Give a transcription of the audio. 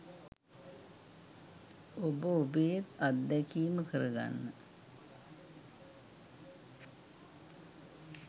ඔබ ඔබේත් අත්දැකීම කරගන්න